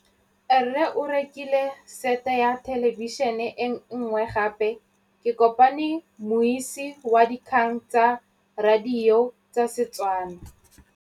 Rre o rekile sete ya thêlêbišênê e nngwe gape. Ke kopane mmuisi w dikgang tsa radio tsa Setswana.